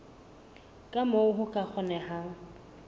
ka moo ho ka kgonehang